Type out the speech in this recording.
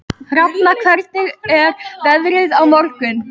Hrafna, hvernig er veðrið á morgun?